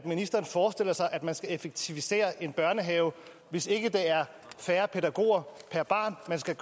ministeren forestiller sig at man skal effektivisere en børnehave hvis ikke det er færre pædagoger per barn man skal